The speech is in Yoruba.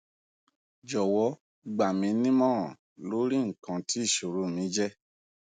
jọwọ gba mi nimọran lori ikan ti iṣoro mi je